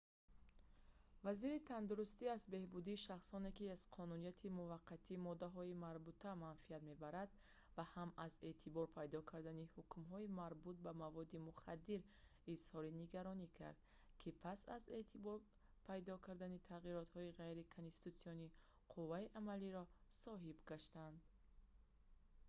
вазири тандурустӣ аз беҳбудии шахсоне ки аз қонунияти муваққатии моддаҳои марбута манфият мебаранд ва ҳам аз эътибор пайдо кардани ҳукмҳои марбут ба маводи мухаддир изҳори нигаронӣ кард ки пас аз эътибор пайдо кардани тағиротҳои ғайриконститутсионӣ қувваи амалиро соҳиб гаштанд